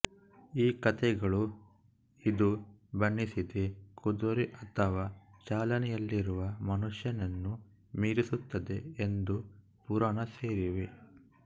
ಈ ಕಥೆಗಳು ಇದು ಬಣ್ಣಿಸಿದೆ ಕುದುರೆ ಅಥವಾ ಚಾಲನೆಯಲ್ಲಿರುವ ಮನುಷ್ಯನನ್ನು ಮೀರಿಸುತ್ತದೆ ಎಂದು ಪುರಾಣ ಸೇರಿವೆ